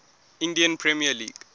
indian premier league